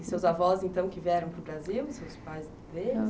E seus avós então que vieram para o Brasil, seus pais deles?